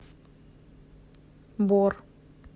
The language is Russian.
бор